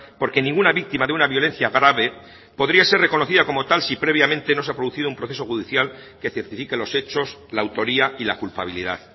porque ninguna víctima de una violencia grave podría ser reconocida como tal si previamente no se ha producido un proceso judicial que certifique los hechos la autoría y la culpabilidad